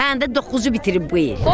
Həm də doqquzu bitirib bu il.